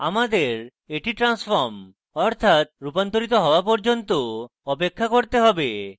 আমাদের এটি transforms অর্থাৎ রূপান্তরিত হওয়া পর্যন্ত অপেক্ষা করতে have